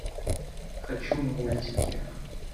хочу мультики